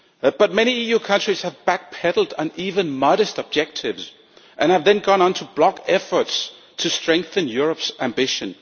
But many EU countries have back-pedalled on even modest objectives and have then gone on to block efforts to strengthen Europe's ambition.